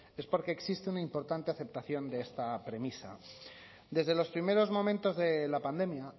es porque existe una importante aceptación de esta premisa desde los primeros momentos de la pandemia